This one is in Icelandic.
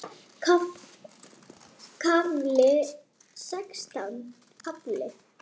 KAFLI SEXTÁN